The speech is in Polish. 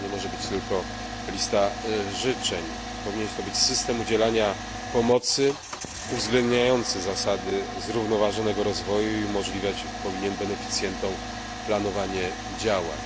To nie może być tylko lista życzeń. Powinien to być system udzielania pomocy uwzględniający zasady zrównoważonego rozwoju i powinien on umożliwiać beneficjentom planowanie działań.